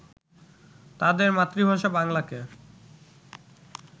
তাদের মাতৃভাষা বাংলাকে